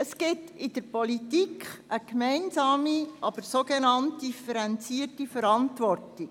Es gibt in der Politik eine gemeinsame, aber sogenannt «differenzierte» Verantwortung.